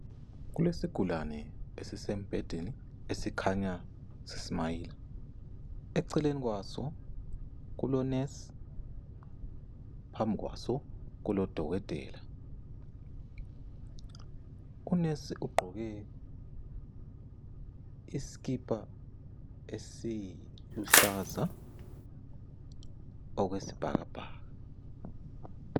Kulesigulane esisembhedeni esikhanya si smayila. Eceleni kwaso kulo nesi, phambi kwaso kulo dokotela. Unesi ugqoke iskipa esiluhlaza okwesibhakabhaka.